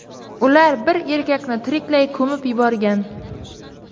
Ular bir erkakni tiriklay ko‘mib yuborgan.